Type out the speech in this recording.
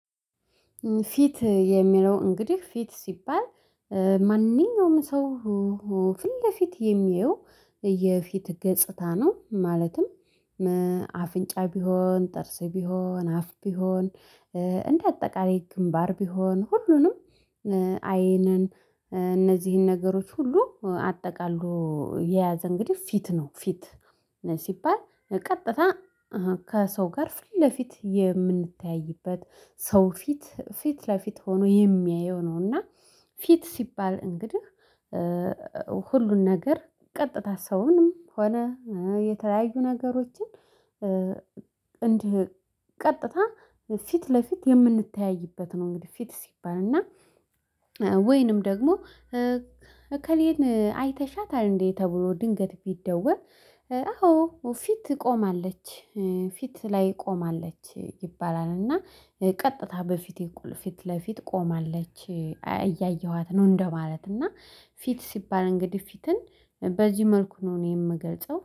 ፊት የሚለው እንግዲህ ፊት ሲባል እ ማንኛውም ሰው ው ፊት ለፊት የሚያየው የፊት ገጽታ ነው። ማለትም አፍንጫ ቢሆን፣ ጥርስ ቢሆን፣ አፍ ቢሆን፣ እ እንዳጠቃላይ ግንባር ቢሆን፣ ሁሉንም እ አይንን እ እነዚህን ነገሮች ሁሉ አጠቃልሎ እ የያዘ እንግዲህ ፊት ነው። ፊት እ ሲባል እ ቀጥታ እህ ከሰው ጋር ፊለፊት የምንተያይበት፣ ሰው ፊት ፊት ለፊት ሆኖ የሚያየው ነው። እና ፊት ሲባል እንግድህ እ ሁሉን ነገር ቀጥታ ሰውንም ሆነ እ የተለያዩ ነገሮችን እ እንዲህ ቀጥታ ፊት ለፊት የምንተያይበት ነው። እንግዲህ ፊት ሲባል እና እ ወይንም ደግሞ እ እከሌን አይተሻታል እንዴ? ተብሎ ድንገት ቢደወል። እ አዎ ፊት ቆማለች፣ ፊት ላይ ቆማለች ይባላል። እና እ ቀጥታ በፊቴ ኩል ፊት ለፊት ቆማለች ኧ እያየኋት ነው እንደማለት ነው። እና ፊት ሲባል እንግዲህ ፊትን በዚህ መልኩ ነው እኔ የምገልጸው።